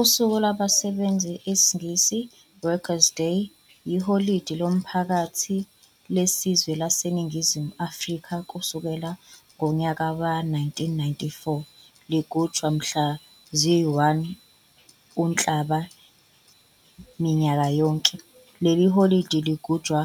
Usuku lwabasebenzi, IsiNgisi, "Workers Day", yiholide lomphakathi lesizwe laseNingizimu Afrika kusukela ngonyaka we-1994 ligujwa mhla zi-1 uNhlaba minyaka yonke. Leli holide ligujwa